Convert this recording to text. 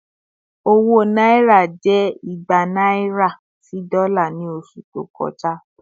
Owó Náírà jẹ́ ìgbà naira sì dola ni oṣù to kọjá